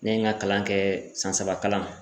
Ne ye ŋa kalan kɛɛ san saba kalan